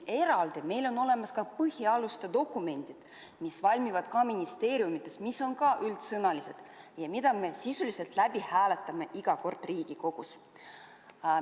Eraldi on meil olemas veel põhialuste dokumendid, mis valmivad ka ministeeriumides ja mis on samuti üldsõnalised ja mida me sisuliselt hääletame iga kord Riigikogus.